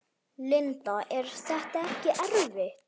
Linda: Er þetta ekkert erfitt?